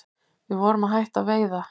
Við vorum að hætta að veiða